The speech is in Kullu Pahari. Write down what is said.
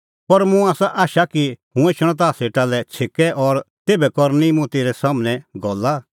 पर मुंह आसा आशा कि हुंह एछणअ ताह सेटा लै छ़ेकै और तेभै करनी मुंह तेरै सम्हनै गल्ला